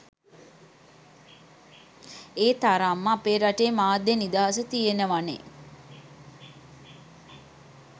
ඒ තරම්ම අපේ රටේ මාධ්‍ය නිදහස තියෙනවනෙ.